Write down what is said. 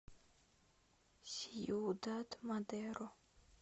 сьюдад мадеро